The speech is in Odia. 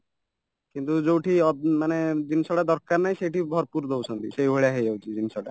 କିନ୍ତୁ ଯୋଉଠି ଅ ମାନେ ଜିନିଷ ଟା ଦରକାର ନାହିଁ ସେଇଠି ଭରପୁର ଦଉଛନ୍ତି ସେଇଭଳିଆ ହେଇଯାଉଛି ଜିନିଷଟା